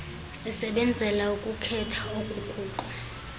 sisebenzela ukukhetha okukuko